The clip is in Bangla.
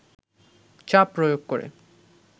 চাপ প্রয়োগ করে